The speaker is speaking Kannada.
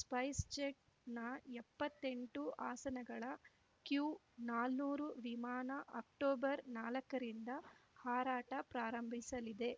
ಸ್ಪೈಸ್‌ಜೆಟ್‌ನ ಎಪ್ಪತ್ತೆಂಟು ಆಸನಗಳ ಕ್ಯೂನಾನೂರು ವಿಮಾನ ಅಕ್ಟೋಬರ್‌ ನಾಲಕ್ಕರಿಂದ ಹಾರಾಟ ಪ್ರಾರಂಭಿಸಲಿದೆ